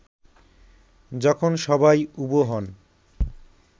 যখন সবাই উবু হন